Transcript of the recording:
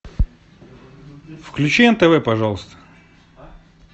включи нтв пожалуйста